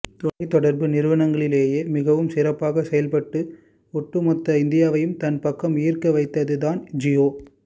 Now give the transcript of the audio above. தொலைத்தொடர்பு நிறுவனங்களிலேயே மிகவும் சிறப்பாக செயல்பட்டு ஒட்டுமொத்த இந்தியாவையும் தன் பக்கம் ஈர்க்க வைத்தது தான் ஜியோ